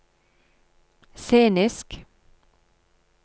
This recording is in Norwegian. scenisk